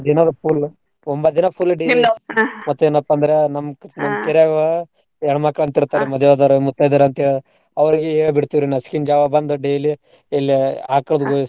ದಿನಾ full ಒಂಬತ್ತ್ ದಿನಾ full ಮತ್ತೇನಪ್ಪ ಅಂದ್ರ ನಮ್ ಹೆಣ್ಮಕ್ಳ್ ಅಂತ್ ಮದ್ವಿ ಆದೋರ್ ಮುತೈದೇರು ಅಂತೇಳಿ ಅವರ್ಗಿ ಹೇಳ್ ಬಿಡ್ತೇವ್ ರೀ ನಸಕಿನ್ ಜಾವ ಬಂದು daily ಇಲ್ಲೇ .